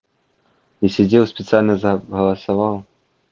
и сидел специально за голосовал